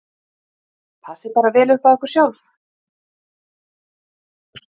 Fimm konur starfi nú hjá embættinu.